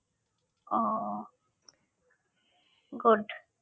ও good